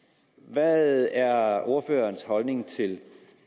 hvad er så ordførerens holdning til